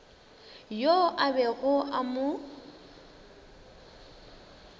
yoo a bego a mo